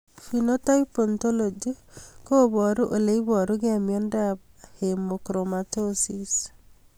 Phenotype ontology koparu ole iparukei miondop Hemochromatosis